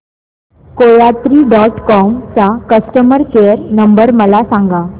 कोयात्री dot com चा customer care number मला सांगा